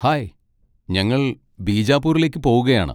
Hi, ഞങ്ങൾ ബിജാപൂരിലേക്ക് പോകുകയാണ്.